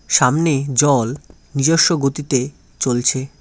সামনে জল নিজস্ব গতিতে চলছে।